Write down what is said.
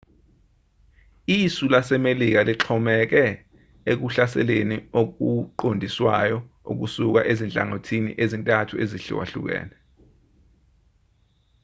isu lasemelika lixhomeke ekuhlaseleni okuqondiswayo okusuka ezinhlangothini ezintathu ezihlukahlukene